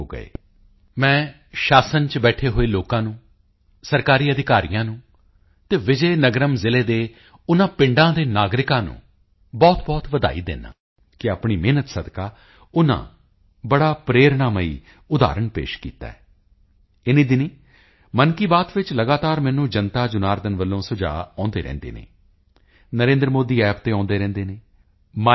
ਹੋ ਗਏ ਮੈਂ ਸ਼ਾਸਨ ਵਿੱਚ ਬੈਠੇ ਹੋਏ ਲੋਕਾਂ ਨੂੰ ਸਰਕਾਰੀ ਅਧਿਕਾਰੀਆਂ ਨੂੰ ਅਤੇ ਵਿਜੇ ਨਗਰਮ ਜ਼ਿਲ੍ਹੇ ਦੇ ਉਨ੍ਹਾਂ ਪਿੰਡਾਂ ਦੇ ਨਾਗਰਿਕਾਂ ਨੂੰ ਬਹੁਤਬਹੁਤ ਵਧਾਈ ਦਿੰਦਾ ਹਾਂ ਕਿ ਆਪਣੀ ਮਿਹਨਤ ਸਦਕਾ ਉਨ੍ਹਾਂ ਬੜਾ ਪ੍ਰੇਰਣਾਮਈ ਉਦਾਹਰਣ ਪੇਸ਼ ਕੀਤਾ ਹੈ ਇਨੀਂ ਦਿਨੀਂ ਮਨ ਕੀ ਬਾਤ ਵਿੱਚ ਲਗਾਤਾਰ ਮੈਨੂੰ ਜਨਤਾਜਨਾਰਦਨ ਵੱਲੋਂ ਸੁਝਾਓ ਆਉਂਦੇ ਰਹਿੰਦੇ ਹਨ NarendraModiApp ਤੇ ਆਉਂਦੇ ਰਹਿੰਦੇ ਹਨ MyGov